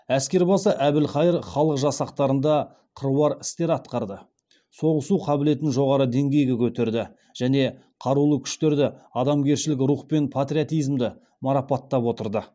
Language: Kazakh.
әскербасы әбілқайыр халық жасақтарында қыруар істер атқарды соғысу қабілетін жоғары деңгейге көтерді және қарулы күштерде адамгершілік рух пен патриотизмді марапаттап отырды